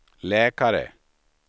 läkare